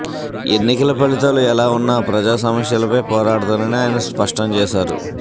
ఎన్నికల ఫలితాలు ఎలా ఉన్నా ప్రజా సమస్యలపై పోరాడుతానని ఆయన స్పష్టం చేశారు